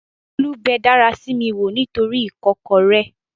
Bólú bẹ dárasími wò nítoríi ìkọ́kọrẹ́